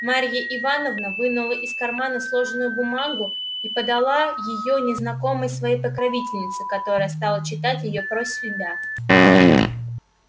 марья ивановна вынула из кармана сложенную бумагу и подала её незнакомой своей покровительнице которая стала читать её про себя